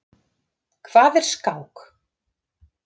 Hvað er skák?